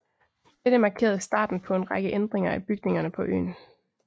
Dette markerede starten på en række ændringer af bygningerne på øen